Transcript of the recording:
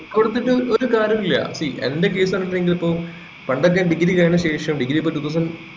കൊടുത്തിട്ട് ഒരു കാര്യോം ഇല്ല see എന്റെ case പറഞ്ഞെങ്കിൽ ഇപ്പൊ പണ്ടൊക്കെ degree കഴിഞ്ഞ ശേഷം degree ഇപ്പോം two thousand